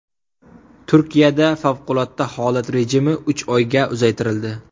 Turkiyada favqulodda holat rejimi uch oyga uzaytirildi.